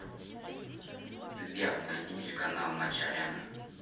сбер найди телеканал матч арена